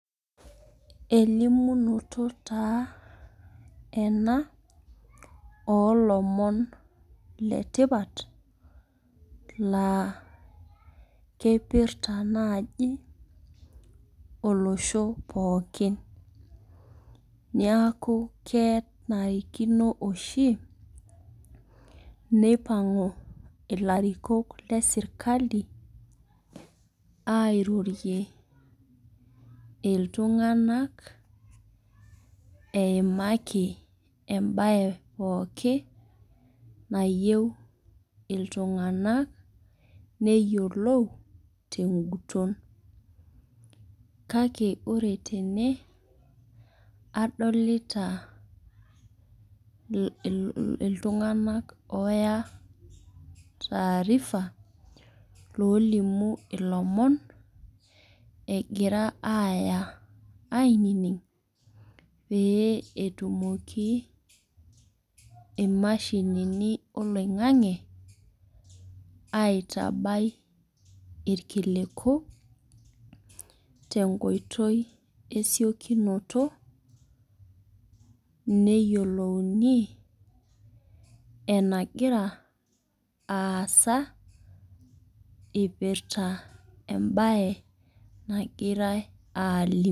Elimunoto taa ena oolomon le tipat laa keipirta naaji olosho pookin. Neaku kenarikino oshi neipang'u ilarikok le serkali airorie iltung'anak eimaki embaye pookin nayou iltung'ana neyiolou te eng'uton. Kake ore tene adolita iltung'anak ooya taarifa loolimu ilomon egira aaya ainining' peyie etumoki imashinini oloing'ang'e aitabai ilkiliku tenkoitoi e esiokinoto, neyiolouni enagira aasa eipirta embaye nagirai aalimu.